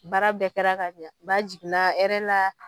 Baara bɛɛ kɛra ka ɲa ba jiginna hɛrɛ la